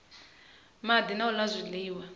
madi na u la zwiliwa